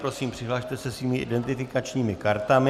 Prosím, přihlaste se svými identifikačními kartami.